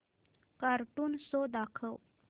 cartoon show दाखव